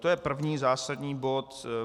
To je první zásadní bod.